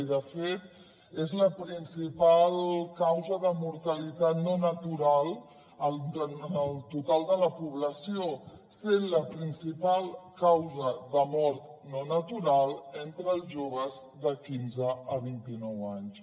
i de fet és la principal causa de mortalitat no natural en el total de la població sent la principal causa de mort no natural entre els joves de quinze a vint i nou anys